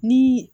Ni